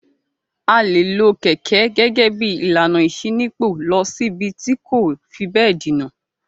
A le lo kẹ̀kẹ́ gẹ́gẹ́ bí ìlànà ìṣínípò lọ síbi tí kò fi bẹ́ẹ̀ jìnà.